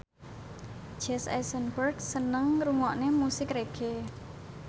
Jesse Eisenberg seneng ngrungokne musik reggae